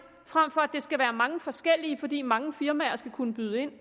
frem for at det skal være mange forskellige fordi mange firmaer skal kunne byde ind